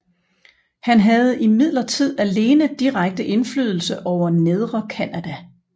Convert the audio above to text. Han havde imidlertid alene direkte indflydelse over Nedre Canada